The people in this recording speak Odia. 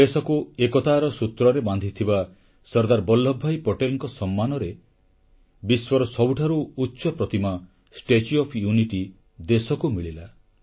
ଦେଶକୁ ଏକତାର ସୂତ୍ରରେ ବାନ୍ଧିଥିବା ସର୍ଦ୍ଦାର ବଲ୍ଲଭଭାଇ ପଟେଲଙ୍କ ସମ୍ମାନରେ ବିଶ୍ୱର ସବୁଠାରୁ ଉଚ୍ଚ ପ୍ରତିମା ଷ୍ଟାଚ୍ୟୁ ଓଏଫ୍ ୟୁନିଟି ଦେଶକୁ ମିଳିଲା